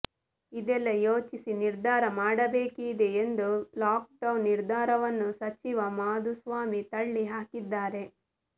ಇದೆಲ್ಲಾ ಯೋಚಿಸಿ ನಿರ್ಧಾರ ಮಾಡಬೇಕಿದೆ ಎಂದು ಲಾಕ್ಡೌನ್ ನಿರ್ಧಾರವನ್ನು ಸಚಿವ ಮಾಧುಸ್ವಾಮಿ ತಳ್ಳಿ ಹಾಕಿದ್ದಾರೆ